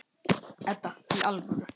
Edda, í alvöru.